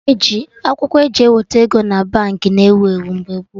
Akwụkwọ eji eweta ego na Baankị na ewu ewu mgbe gboo